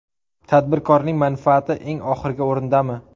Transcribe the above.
Tadbirkorning manfaati eng oxirgi o‘rindami?